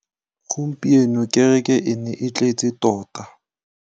Gompieno kêrêkê e ne e tletse tota.